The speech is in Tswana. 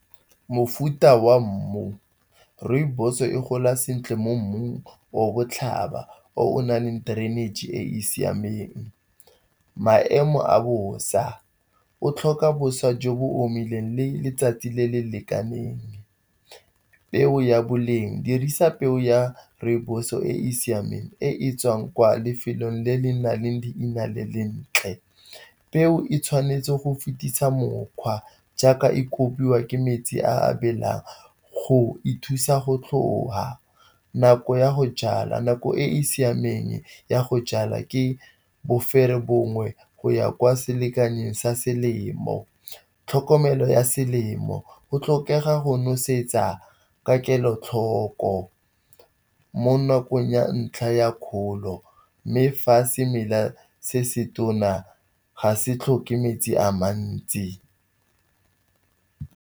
Mofuta wa mmu, rooibos e gola sentle mo mmung o botlhaba, o nale drainage e e siameng, maemo a bosa, o tlhoka bosa jo bo omileng le letsatsi le le lekaneng. Peo ya boleng dirisa peo ya rooibos e e siameng e tswang kwa lefelong le le nang leina le lentle. Peo e tshwanetse go fetisa mokgwa jaaka e kobiwa ke metsi a belang go e thusa go tlhoka nako ya go jala. Nako e e siameng ya go jala ke boferebongwe go ya kwa selekanyeng sa selemo. Tlhokomelo ya selemo, go tlhokega go nosetsa ka kelotlhoko mo nakong ya ntlha ya kgolo mme fa semela se se tona ga se tlhoke metsi a mantsi.